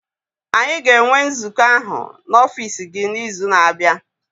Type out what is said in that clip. Anyị ga-enwe nzukọ ahụ n'ọfiisi gị n'izu na-abịa.